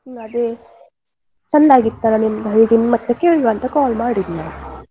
ಅದೇ ಚಂದ ಆಗಿತ್ತು ಅಲಾ ನಿಮ್ಮದು ಹಾಗೆ ಕೇಳುವ ಅಂತ call ಮಾಡಿದ್ ನಾನು.